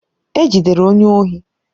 E jidere onye ohi